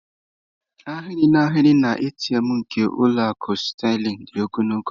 Ahịrị n'ahịrị na ATM nke ụlọ akụ Sterling dị ogologo.